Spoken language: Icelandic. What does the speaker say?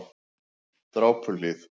Drápuhlíð